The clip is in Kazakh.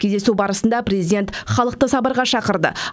кездесу барысында президент халықты сабырға шақырды